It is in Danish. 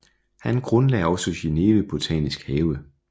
Han grundlagde også Genève Botanisk Have